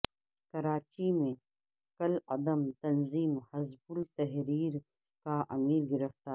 کراچی میں کالعدم تنظیم حزب التحریر کا امیرگرفتار